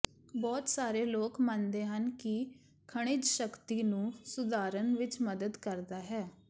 ਬਹੁਤ ਸਾਰੇ ਲੋਕ ਮੰਨਦੇ ਹਨ ਕਿ ਖਣਿਜ ਸ਼ਕਤੀ ਨੂੰ ਸੁਧਾਰਨ ਵਿੱਚ ਮਦਦ ਕਰਦਾ ਹੈ